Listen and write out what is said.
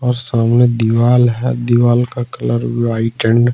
और सामने दीवाल है दीवाल का कलर व्हाइट एंड --